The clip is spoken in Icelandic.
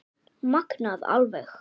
Magnað alveg